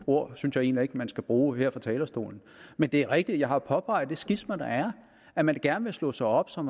ord synes jeg heller ikke man skal bruge her fra talerstolen men det er rigtigt at jeg har påpeget det skisma der er at man gerne vil slå sig op som